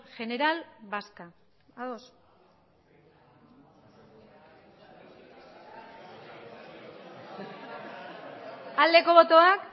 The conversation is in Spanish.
general vasca ados aldeko botoak